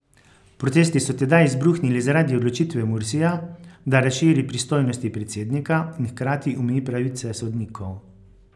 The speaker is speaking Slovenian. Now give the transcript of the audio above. Protesti so tedaj izbruhnili zaradi odločitve Mursija, da razširi pristojnosti predsednika in hkrati omeji pravice sodnikov.